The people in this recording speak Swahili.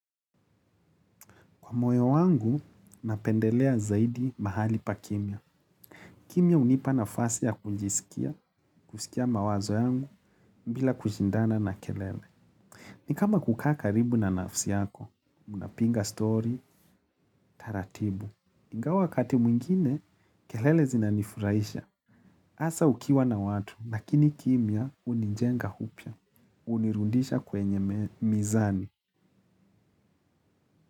Kwa moyo wangu, napendelea zaidi mahali pa kimya. Kimya hunipa nafasi ya kujisikia, kusikia mawazo yangu, bila kushindana na kelele. Ni kama kukaa karibu na nafsi yako, unapiga story, taratibu. Ingawa wakati mwingine, kelele zinanifurahisha. Hasaa ukiwa na watu, lakini kimya hunijenga upya. Hunirudisha kwenye mizani.